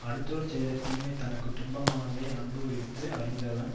அடுத்தவர் செய்த தீமை தனக்கு துன்பமானதை அனுபவித்து அறிந்தவன்